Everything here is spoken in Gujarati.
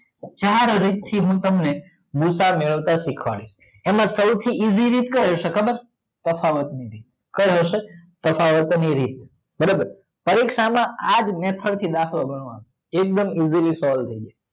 ચાર રીત થી હું તમને ગુસા મેરવતા સીખવાડીસ એમ સૌથી ઈસી રીત કી છે ખબર છે તફાવત ની રીત કઈ હસે તફાવત ની રીત બરોબર પરીક્ષા માં આજ મેથડ થી દાખલો ગણવાનો એકદમ ઈસીલી સોલ્વ થાય જાય